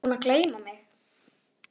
Ertu búinn að gleyma mig?